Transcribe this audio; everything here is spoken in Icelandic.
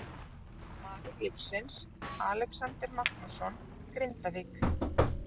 Maður leiksins: Alexander Magnússon, Grindavík.